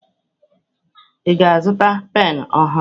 Ị ga-azụta penụ ọhụrụ?